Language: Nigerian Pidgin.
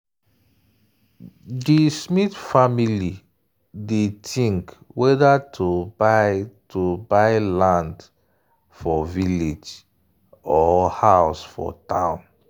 di smith family dey think whether to buy to buy land for village or house for town.